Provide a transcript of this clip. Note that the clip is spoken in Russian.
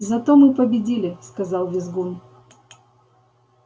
зато мы победили сказал визгун